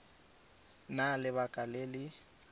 na le lebaka le le